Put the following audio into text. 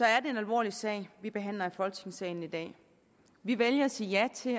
er det en alvorlig sag vi behandler i folketingssalen i dag vi vælger at sige ja til